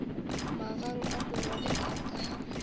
magang a morwa le tatagwe